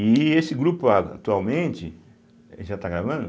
E esse grupo atualmente, já está gravando?